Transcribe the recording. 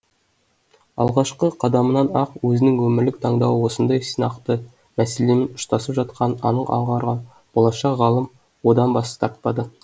алғашқы қадамынан ақ өзінің өмірлік таңдауы осындай сынақты мәселемен ұштасып жатқанын анық аңғарған болашақ ғалым одан бас тартпады